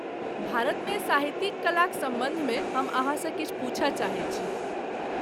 भारतमे साहित्यिक कलाक सम्बन्धमे हम अहाँसँ किछु पूछय चाहै छी।